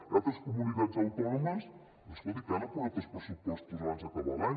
hi ha altres comunitats autònomes escolti que han aprovat els pressupostos abans d’acabar l’any